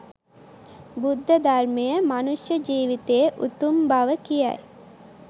බුද්ධ ධර්මය මනුෂ්‍ය ජීවිතයේ උතුම් බව කියයි.